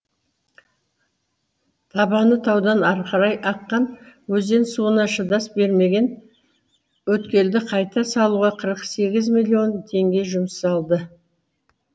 табаны таудан арқырай аққан өзен суына шыдас бермеген өткелді қайта салуға қырық сегіз миллион теңге жұмсалды